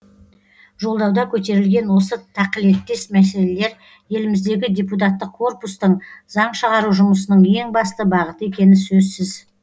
жолдауда көтерілген осы тақылеттес мәселелер еліміздегі депутаттық корпустың заң шығару жұмысының ең басты бағыты екені сөзсіз